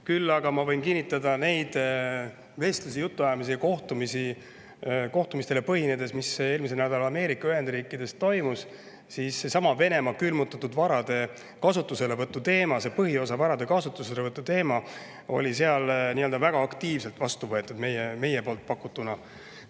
Küll aga ma võin kinnitada neid vestlusi ja jutuajamisi kohtumistel, mis eelmisel nädalal Ameerika Ühendriikides toimusid: seesama Venemaa külmutatud varade kasutuselevõtu teema, varade põhiosa kasutuselevõtu teema võeti seal väga aktiivselt vastu, kui me selle.